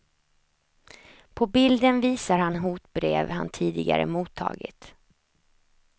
På bilden visar han hotbrev han tidigare mottagit.